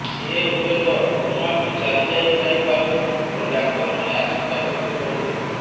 ସେ ହୁଏତ କୋମାକୁ ଚାଲିଯାଇଥାଇ ପାରନ୍ତି ବୋଲି ଡାକ୍ତରମାନେ ଆଶଙ୍କା ବ୍ୟକ୍ତ କରୁଥିଲେ